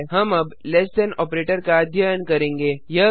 हम अब less than operator का अध्ययन करेंगे